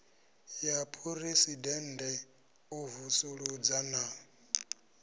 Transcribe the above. ya phuresidennde u vusuludza na